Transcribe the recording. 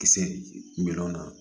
Kisɛ minɛ